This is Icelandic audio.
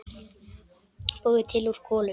Búið til úr kolum!